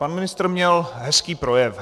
Pan ministr měl hezký projev.